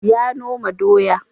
Ya noma doya.